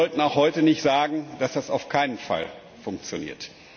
Aber wir sollten auch heute nicht sagen, dass das auf keinen Fall funktioniert.